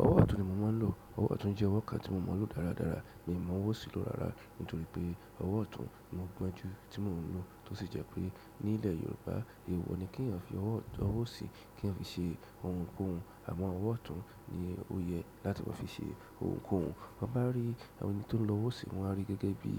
Ọwọ́ ọ̀tún ni mo máa ń lò. Ọwọ́ ọ̀tún jẹ́ ọwọ́ kan tí mo mọ̀ lọ dáradára mí mọ owó osì lọ́ rárá. Nítorí pé ọwọ́ ọ̀tún ni mo gbonjú tí mo ń lò tó sì jẹ́ pé ní ilẹ̀ Yorùbá èèwọ̀ ni kí ènìyàn fi ọwọ́ ọ̀si kí ọ fi ṣe ohunkóhun. Àmọ́ ọwọ́ ọ̀tún ni ó yẹ láti máa fi ṣe ohunkóhun. Ti a ba ri ẹni ti ohun lo owo osi, won a ri gẹ́gẹ́ bi